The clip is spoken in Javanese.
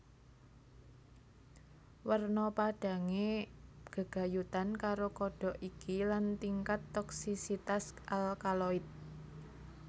Werna padhange gegayutan karo kodhok iki lan tingkat toksisitas alkaloid